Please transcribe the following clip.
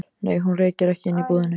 Nei, hún reykir ekki inni í búðinni.